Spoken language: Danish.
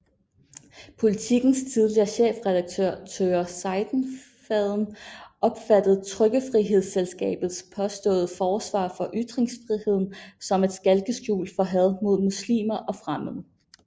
Politikens tidligere chefredaktør Tøger Seidenfaden opfattede Trykkefrihedsselskabets påståede forsvar for ytringsfriheden som et skalkeskjul for had mod muslimer og fremmede